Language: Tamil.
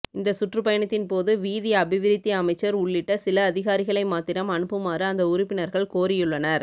இந்த சுற்றுப்பயணத்தின் போது வீதி அபிவிருத்தி அமைச்சர் உள்ளிட்ட சில அதிகாரிகளை மாத்திரம் அனுப்புமாறு அந்த உறுப்பினர்கள் கோரியுள்ளனர்